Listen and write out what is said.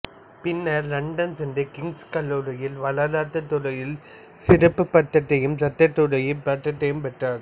பின்னர் இலண்டன் சென்று கிங்ஸ் கல்லூரியில் வரலாற்றுத் துறையில் சிறப்புப் பட்டத்தையும் சட்டத்துறையில் பட்டத்தையும் பெற்றார்